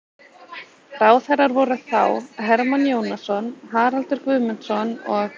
Ráðherrar voru þá: Hermann Jónasson, Haraldur Guðmundsson og